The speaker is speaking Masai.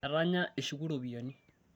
etanya eshuku iropiani